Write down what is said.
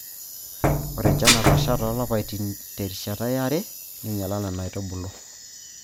Ore enchan Natasha toolapaitin terishata yare neinyala Nena aitubulu.